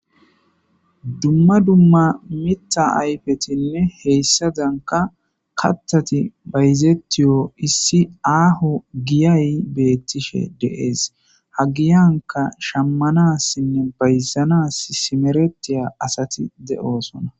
Dumma dumma mita ayfetinne heyssadanka katthati bayzettiyo issi aaho giyay beettishe deees ha giyanka shammanassinne bayzanas simeretiya asati de'osona